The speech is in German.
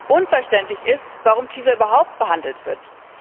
Unverständlich ist, warum TISA überhaupt verhandelt wird.